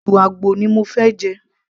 ìrù àgbò ni mo fẹ́ jẹ